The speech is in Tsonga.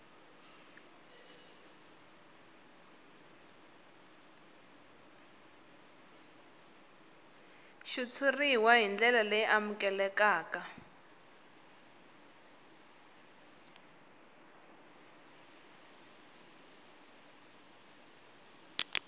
xitshuriwa hi ndlela leyi amukelekaka